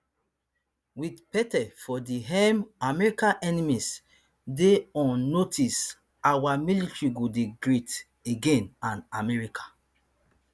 wit pete for di helm america enemies dey on notice our military go dey great again and america